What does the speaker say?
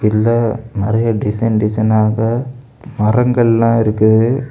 இதுல நிறைய டிசைன் டிசைனாக மரங்கள்ளாம் இருக்குது